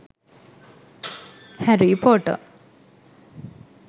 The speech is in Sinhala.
harry potter